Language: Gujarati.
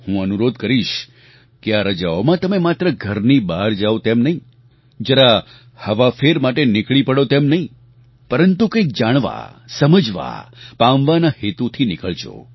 હું અનુરોધ કરીશ કે આ રજાઓમાં તમે માત્ર ઘરની બહાર જાવ તેમ નહીં જરા હવાફેર માટે નીકળી પડો તેમ નહીં પરંતુ કંઈક જાણવા સમજવા પામવાના હેતુથી નીકળજો